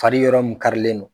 Fari yɔrɔ mun karilen don.